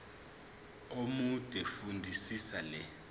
omude fundisisa le